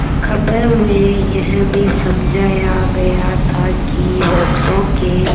खबर में यह भी समझाया गया था कि वृक्षों के